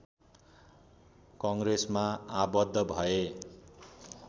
कङ्ग्रेसमा आबद्ध भए